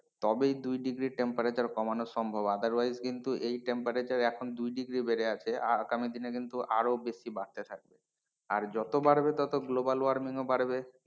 তবেই দুই degree temperature কমানো সম্ভব otherwise কিন্তু এই temperature এখন দুই degree বেড়ে আছে আগামী দিনে কিন্তু আরো বেশি বাড়তে থাকবে আর যত বাড়বে তত global warming ও বাড়বে।